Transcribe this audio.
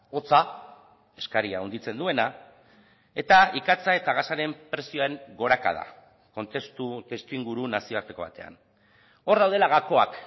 hotza eskaria handitzen duena eta ikatza eta gasaren prezioen gorakada kontestu testuinguru nazioarteko batean hor daudela gakoak